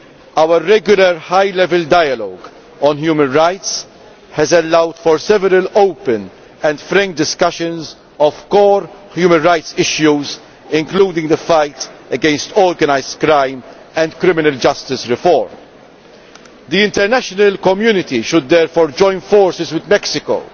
Our regular High Level Dialogue on Human Rights has allowed for several open and frank discussions on core human rights issues, including the fight against organised crime and reform of criminal justice. The international community should join forces with Mexico